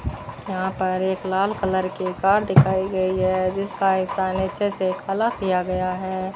यहाँ पर एक लाल कलर की कार दिखाई गई हैं जिसका हिस्सा नीचे से काला किया गया हैं।